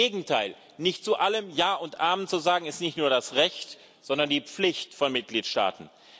Im Gegenteil Nicht zu allem Ja und Amen zu sagen, ist nicht nur das Recht, sondern die Pflicht von Mitgliedstaaten.